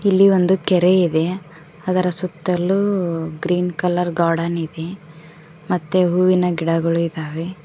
ಇಲ್ಲಿ ಒಂದು ಕೆರೆ ಇದೆ ಅದರ ಸುತ್ತಲೂ ಗ್ರೀನ್ ಕಲರ್ ಗಾರ್ಡನ್ ಇದೆ ಮತ್ತೆ ಹೂವಿನ ಗಿಡಗಳು ಇದ್ದಾವೆ.